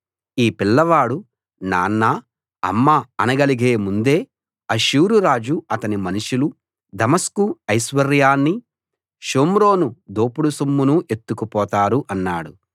ఈ పిల్లవాడు నాన్నా అమ్మా అనగలిగే ముందే అష్షూరు రాజు అతని మనుషులు దమస్కు ఐశ్వర్యాన్నీ షోమ్రోను దోపుడు సొమ్మునూ ఎత్తుకు పోతారు అన్నాడు